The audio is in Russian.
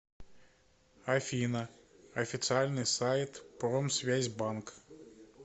афина официальный сайт промсвязьбанк